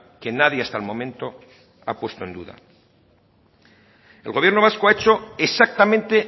que nadie hasta el momento ha puesto en duda el gobierno vasco ha hecho exactamente